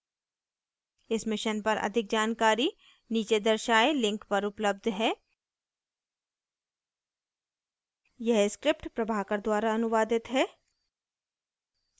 इस mission पर अधिक जानकारी नीचे दर्शाये link पर उपलब्ध है